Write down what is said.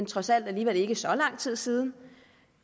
trods alt alligevel ikke så lang tid siden